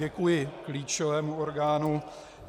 Děkuji klíčovému orgánu.